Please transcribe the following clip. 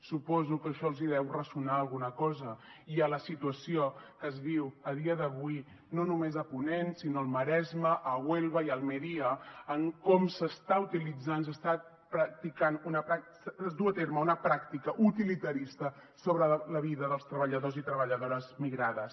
suposo que en això els deu ressonar alguna cosa la situació que es viu a dia d’avui no només a ponent sinó al maresme a huelva i a almeria en com s’està utilitzant es du a terme una pràctica utilitarista sobre la vida dels treballadors i treballadores migrades